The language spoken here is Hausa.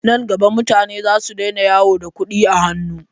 Nan gaba mutane za su daina yawo da kuɗi a hannu.